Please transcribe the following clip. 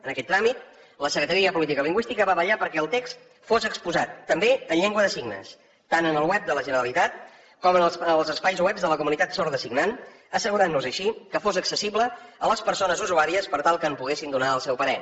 en aquest tràmit la secretaria de política lingüística va vetllar perquè el text fos exposat també en llengua de signes tant en el web de la generalitat com en els espais webs de la comunitat sorda signant assegurant nos així que fos accessible a les persones usuàries per tal que hi poguessin donar el seu parer